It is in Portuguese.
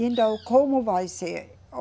Então, como vai ser?